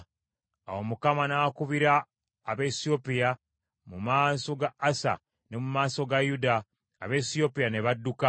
Awo Mukama n’akubira Abaesiyopiya mu maaso ga Asa ne mu maaso ga Yuda, Abaesiyopiya ne badduka.